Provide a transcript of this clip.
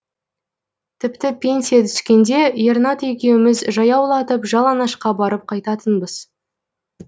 тіпті пенсия түскенде ернат екеуіміз жаяулатып жалаңашқа барып қайтатынбыз